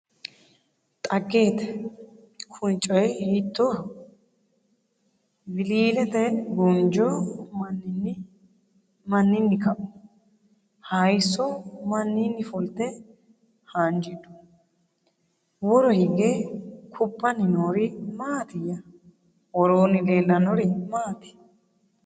Xageette! Kuni coyi hiittoho? Wiliilete guunjjo maninni kau? Hayiiso maninni fulitte haanjidhu? Woro hige kubbanni noori maattiya? Woroonni leelannori maatti?